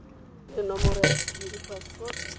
le nomoro ya sephiri password